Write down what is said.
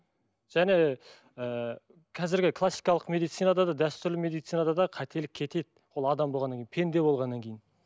және ы қазіргі классикалық медицинада да дәстүрлі медицинада да қателік кетеді ол адам болғаннан кейін пенде болғаннан кейін